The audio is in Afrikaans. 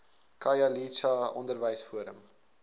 khayelitsha onderwys forum